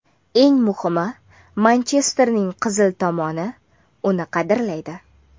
Eng muhimi, Manchesterning qizil tomoni uni qadrlaydi.